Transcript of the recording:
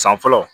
San fɔlɔ